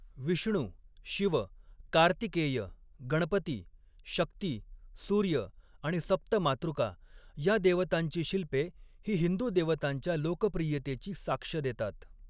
विष्णू, शिव, कार्तिकेय, गणपती, शक्ती, सूर्य आणि सप्त मातृका या देवतांची शिल्पे ही हिंदू देवतांच्या लोकप्रियतेची साक्ष देतात.